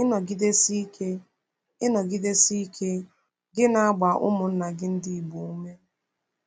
Ịnọgidesi ike Ịnọgidesi ike gị na-agba ụmụnna gị ndị Igbo ume.